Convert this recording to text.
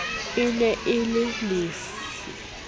e ne e le lefe